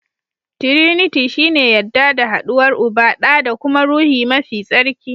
Tiriniti shi ne yadda da haduwar Uba, ɗa da kuma Ruhi mafi tsarki.